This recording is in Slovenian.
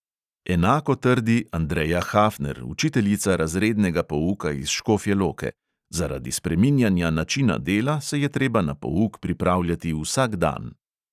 Enako trdi andreja hafner, učiteljica razrednega pouka iz škofje loke: zaradi spreminjanja načina dela se je treba na pouk pripravljati vsak dan.